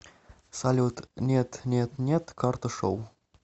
салют нет нет нет карташоу